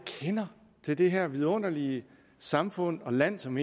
kender til det her vidunderlige samfund og land som